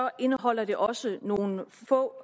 indeholder det også nogle få